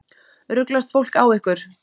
Ruglast fólk á ykkur?